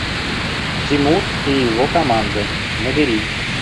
тимур и его команда набери